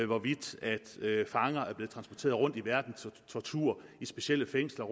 hvorvidt fanger er blevet transporteret rundt i verden til tortur i specielle fængsler